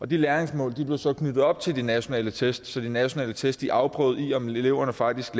de læringsmål blev så knyttet op til de nationale test så de nationale test afprøvede i om eleverne faktisk